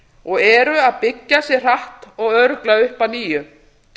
og eru að byggja sig hratt og örugglega upp að nýju